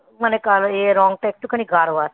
মানে ইয়ে রংটা একটুখানি গাঢ় আছে.